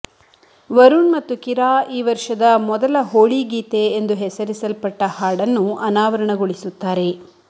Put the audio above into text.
ವರುಣ್ ಮತ್ತು ಕಿರಾ ಈ ವರ್ಷದ ಮೊದಲ ಹೋಳಿ ಗೀತೆ ಎಂದು ಹೆಸರಿಸಲ್ಪಟ್ಟ ಹಾಡನ್ನು ಅನಾವರಣಗೊಳಿಸುತ್ತಾರೆ